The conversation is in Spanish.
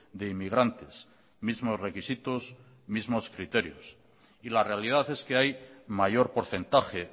de inmigrantes mismos requisitos mismos criterios y la realidad es que hay mayor porcentaje